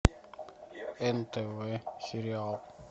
нтв сериал